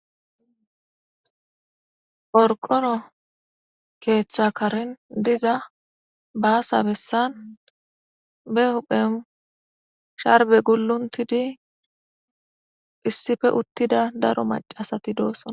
Qoriqoro keththa karen diza basa besan ba huphen sharibe qachchid uttidi izsippe uttidi betoosona.